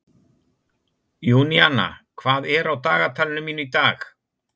Júníana, hvað er á dagatalinu mínu í dag?